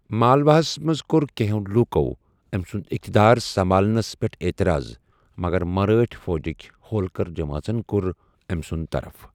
مالوہَس منٛز کوٚر کینٛہَو لوٗکَو أمۍ سُنٛد اقتدار سنبھالنٕنَس پیٹھ اعتراض، مگر مرٲٹھاۍ فوٗجِک ہولکر جمٲژن کوٚر ٲمۍ سُنٛد طرف۔